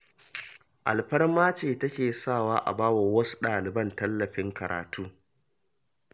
Alfarma ce take sawa a ba wa wasu ɗaliban tallafin karatu.